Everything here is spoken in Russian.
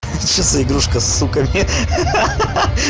что за игрушка сука ха-ха-ха-ха-ха